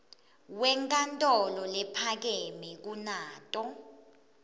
wenkantolo lephakeme kunato